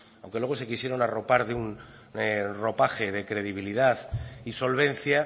aunque luego se quisieran arropar de un ropaje de credibilidad y solvencia